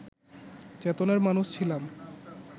চেতনার মানুষ ছিলাম